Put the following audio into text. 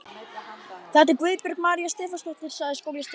Þetta er Guðbjörg María Stefánsdóttir sagði skólastjórinn.